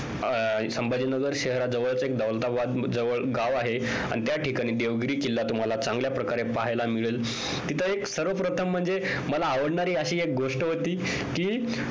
संभाजी नगर शहराजवळ एक दौलताबाद जवळ एक गाव आहे आणि त्या ठिकाणी देवगिरी किल्ला हा तुम्हाला चांगल्या प्रकारे पाहायला मिळेल. तिथे एक सर्वप्रथम म्हणजे मला आवडणारी एक गोष्ट होती. ती कि